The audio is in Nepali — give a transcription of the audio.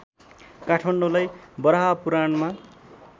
काठमाडौँलाई वराहपुराणमा